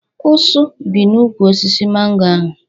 Usu bi n'úkwù osisi mango ahụ